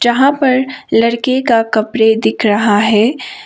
यहां पर लड़के का कपड़े दिख रहा है।